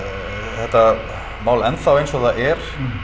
þetta mál enn þá eins og það er